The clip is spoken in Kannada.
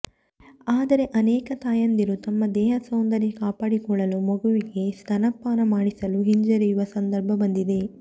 ಆದರೆ ಅನೇಕ ತಾಯಂದಿರು ತಮ್ಮ ದೇಹ ಸೌಂದರ್ಯ ಕಾಪಾಡಿಕೊಳ್ಳಲು ಮಗುವಿಗೆ ಸ್ತನ್ಯಪಾನ ಮಾಡಿಸಲು ಹಿಂಜರಿಯುವ ಸಂದರ್ಭ ಬಂದಿದೆ